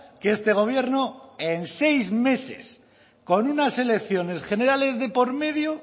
que este gobierno en seis meses con unas elecciones generales de por medio